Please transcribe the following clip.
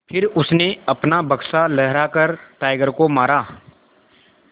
फिर उसने अपना बक्सा लहरा कर टाइगर को मारा